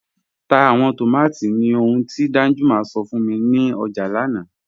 Tá awọn tómátí ní òhùn ti Danjuma sọ̀ fún mi ni ọjà lánà